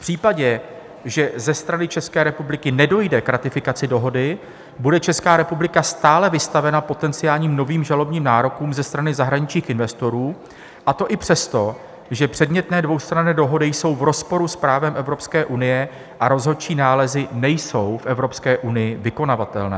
V případě, že ze strany České republiky nedojde k ratifikaci dohody, bude Česká republika stále vystavena potenciálním novým žalobním nárokům ze strany zahraničních investorů, a to i přesto, že předmětné dvoustranné dohody jsou v rozporu s právem Evropské unie a rozhodčí nálezy nejsou v Evropské unii vykonavatelné.